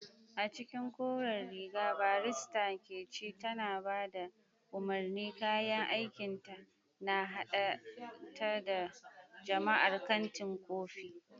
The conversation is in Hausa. A cikin koren riga, barista Nkechi tana ba da umarni, kayan aikinta na haɗa ta da jama'ar kantin kofi.